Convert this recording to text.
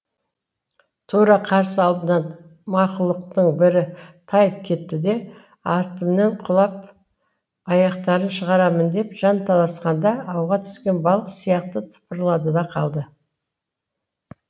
тура қарсы алдынан мақұлықтың бірі тайып кетті де артымен құлап аяқтарын шығарамын деп жанталасқанда ауға түскен балық сияқты тыпырлады да қалды